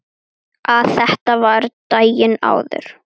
Að þetta var daginn áður.